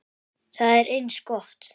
Það er eins gott.